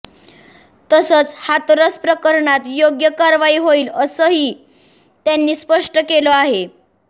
तसंच हाथरस प्रकरणात योग्य कारवाई होईल असंही त्यांनी स्पष्ट केलं आहे